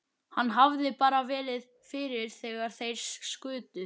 Hann hefði bara verið fyrir þegar þeir skutu.